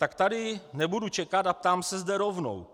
Tak tady nebudu čekat a ptám se zde rovnou.